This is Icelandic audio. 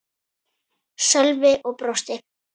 Sölvi og brosti.